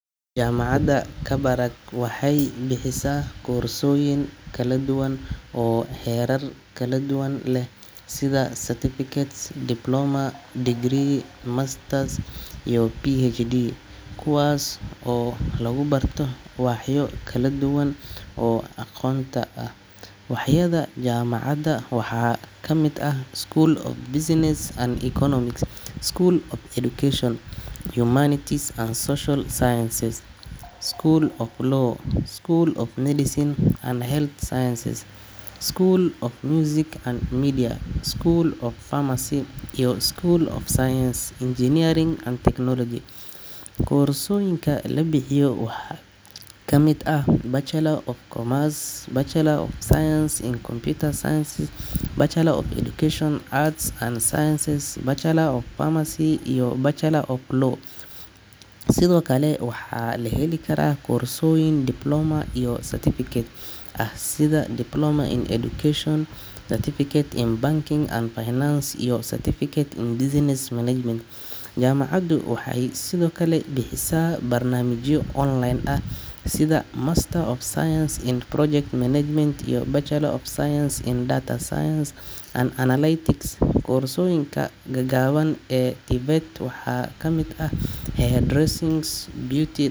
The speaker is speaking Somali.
Jaamacadda Kabarak waxay bixisaa koorsooyin kala duwan oo heerar kala duwan leh sida certificate, diploma, degree, masters, iyo PhD, kuwaas oo lagu barto waaxyo kala duwan oo aqoonta ah. Waaxyada jaamacadda waxaa ka mid ah: School of Business & Economics, School of Education, Humanities & Social Sciences, School of Law, School of Medicine & Health Sciences, School of Music & Media, School of Pharmacy, iyo School of Science, Engineering & Technology . Koorsooyinka la bixiyo waxaa ka mid ah: Bachelor of Commerce, Bachelor of Science in Computer Science, Bachelor of Education (Arts and Science), Bachelor of Pharmacy, iyo Bachelor of Law . Sidoo kale, waxaa la heli karaa koorsooyin diploma iyo certificate ah sida Diploma in Education (Science), Certificate in Banking and Finance, iyo Certificate in Business Management . Jaamacaddu waxay sidoo kale bixisaa barnaamijyo online ah sida Master of Science in Project Management iyo Bachelor of Science in Data Science and Analytics . Koorsooyinka gaagaaban ee TVET waxaa ka mid ah: Hair Dressing, Beau.